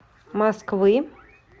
москвы